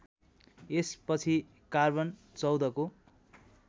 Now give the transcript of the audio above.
यसपछि कार्बन १४ को